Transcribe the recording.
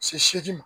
Se seegin ma